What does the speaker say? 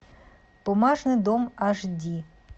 бумажный дом аш ди